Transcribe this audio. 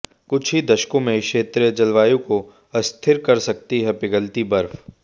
कुछ ही दशकों में क्षेत्रीय जलवायु को अस्थिर कर सकती है पिघलती बर्फ